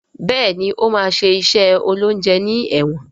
Béèni o ma ṣe iṣé oloúnjẹ ní èwòn.